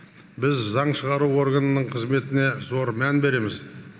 біз заң шығару органының қызметіне зор мән береміз